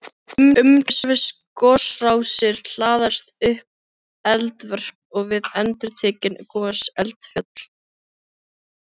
Umhverfis gosrásir hlaðast upp eldvörp og við endurtekin gos eldfjöll.